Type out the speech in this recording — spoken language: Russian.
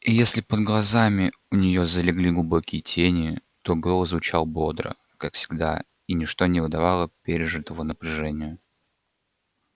и если под глазами у нее залегли глубокие тени то голос звучал бодро как всегда и ничто не выдавало пережитого напряжения